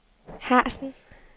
Harzen